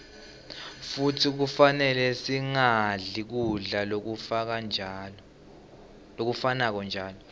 futsi kufanele singadli kudla lokufanako njalo